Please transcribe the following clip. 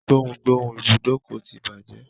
Gboùngboùn ibùdókọ̀ ti bàjẹ́.